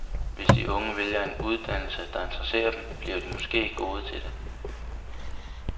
Hvis de unge vælger en uddannelse, der interesserer dem, bliver de måske gode til det.